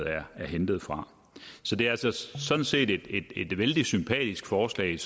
er hentet fra så det er sådan set et vældig sympatisk forslag